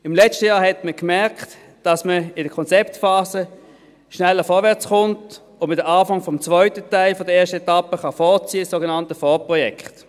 Letztes Jahr merkte man, dass man in der Konzeptphase schneller vorwärtskommt und dass man den ersten Teil der zweiten Phase vorziehen kann, das sogenannte Vorprojekt.